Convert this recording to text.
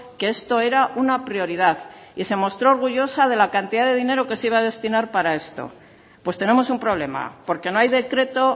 que esto era una prioridad y se mostró orgullosa de la cantidad de dinero que se iba a destinar para esto pues tenemos un problema porque no hay decreto